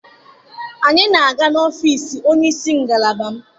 Anyị na-aga n'ọfiisi onye isi ngalaba m.